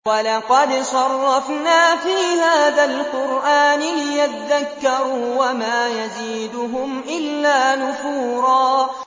وَلَقَدْ صَرَّفْنَا فِي هَٰذَا الْقُرْآنِ لِيَذَّكَّرُوا وَمَا يَزِيدُهُمْ إِلَّا نُفُورًا